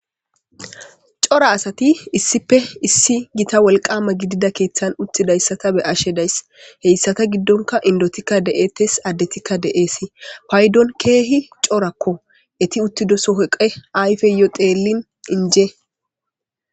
cora asati issipe issi gita wolqama gidida keeththan uttidayssata be ashe dayss heyssata giddonka indotikka de7ettes addetikka de7eesi paydon keehi corakko eti uttido sohoqe ayfeyo deellin inje